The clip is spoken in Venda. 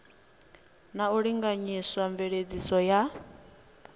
na u linganyisa mveledziso ya